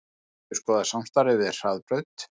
Mun endurskoða samstarfið við Hraðbraut